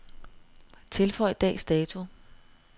Tilføj dags dato.